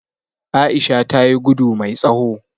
Aisha tayi gudu mai tsawo